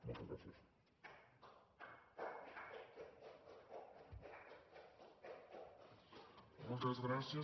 moltes gràcies